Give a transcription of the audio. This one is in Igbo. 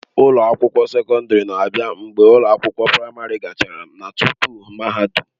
Ụlọ akwụkwọ sekọndrị na-abịa mgbe ụlọ akwụkwọ praịmarị gachara na tupu mahadum.